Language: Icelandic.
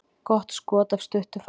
Gott skot af stuttu færi.